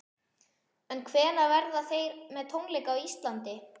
En hvenær verða þeir með tónleika á Íslandi?